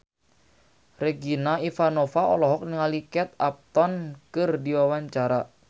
Regina Ivanova olohok ningali Kate Upton keur diwawancara